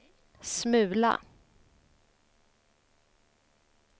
smula